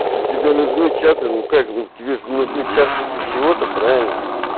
если тебе нужны чаты ну как ну тебе же нужны чаты для чего-то правильно